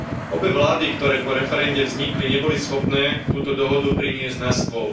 Obe vlády, ktoré po referende vznikli, neboli schopné túto dohodu priniesť na stôl.